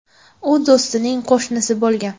U do‘stining qo‘shnisi bo‘lgan.